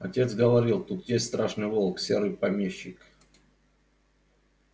отец говорил тут есть страшный волк серый помещик